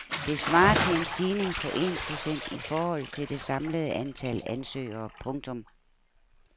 Det svarer til en stigning på en procent i forhold til det samlede antal ansøgere. punktum